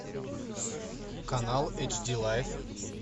канал эйч ди лайф